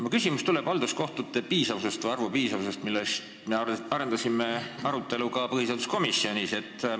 Mu küsimus on halduskohtute arvu piisavuse kohta, mida me arutasime ka põhiseaduskomisjonis.